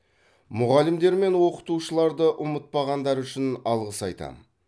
мұғалімдер мен оқытушыларды ұмытпағандары үшін алғыс айтам